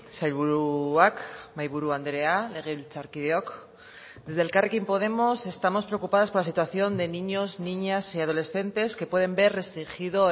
sailburuak mahaiburu andrea legebiltzarkideok desde elkarrekin podemos estamos preocupadas por la situación de niños niñas y adolescentes que pueden ver restringido